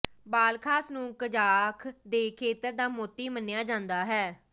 Balkhash ਨੂੰ Kazakh ਦੇ ਖੇਤਰ ਦਾ ਮੋਤੀ ਮੰਨਿਆ ਜਾਂਦਾ ਹੈ